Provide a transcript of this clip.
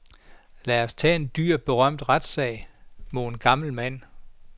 Lad os tage en dyr berømt retssag mod en syg gammel mand.